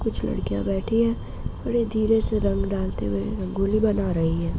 कुछ लड़कियां बैठी है और ये धीरे से रंग डालते हुए रंगोली बना रही है।